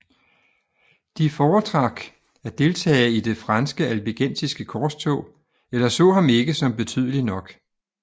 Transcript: De foretrak at deltage i det franske Albigensiske korstog eller så ham ikke som betydelig nok